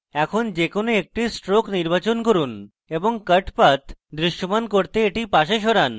এখন যে কোনো একটি strokes নির্বাচন করুন এবং cut path দৃশ্যমান করতে এটি পাশে সরান